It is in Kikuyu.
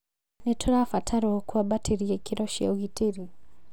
Nĩ tũrabatarwo kwambatĩria ikĩro cia ũgitĩrĩ